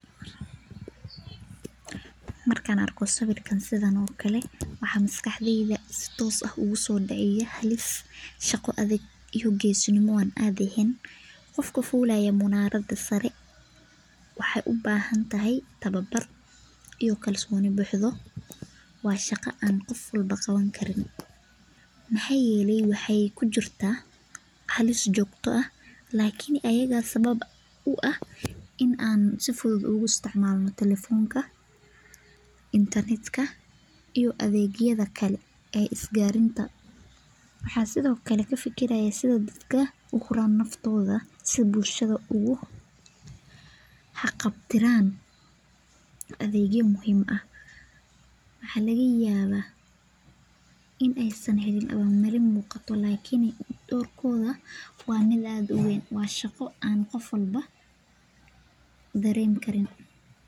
Markaan arko sawiirkaan waxaa maskaxdada kusoo dacaaya shaqo adag iyo geesinimo aan caadi eheen waxeeyubahan tahay tababar iyo si fudud loo isticmaalo telefonka iyo adeegyada is gaarsiinta si bulshada ugu xaqab tirnaan adeegyo muhiim ah waa shaqo aan qof walbo dareemi karin.